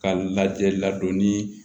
Ka lajɛli ladonni